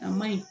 A ma ɲi